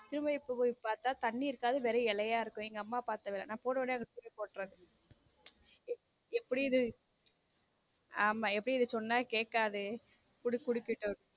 திரும்ப இப்போ போய் பார்த்தா தண்ணீர் இருக்காது வெறும் இலையா இருக்கும் எங்க அம்மா பார்த்த வேலை நான் போன உடனே போடுறது எப்படி இத எப்படி இத சொன்னா கேக்காது விடு குடிக்கட்டும்.